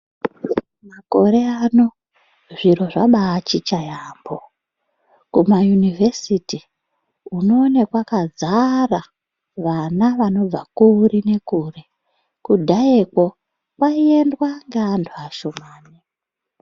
Makore ano, zviro zvabatshitsha yaambo ,kumayuniversity unowone kwakazara vana vanobva kure nekure, kudhayako kwayiendwa nevanhu vashomani.